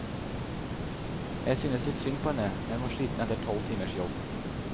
Jeg syntes litt synd på henne, men var sliten etter tolv timers jobb.